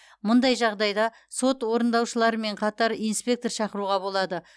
мұндай жағдайда сот орындаушыларымен қатар инспектор шақыруға болады